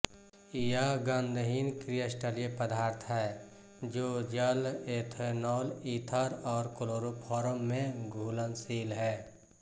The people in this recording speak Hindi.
यह गंधहीन क्रिस्टलीय पदार्थ है जो जल एथेनॉल ईथर और क्लोरोफॉर्म में घुलनशील है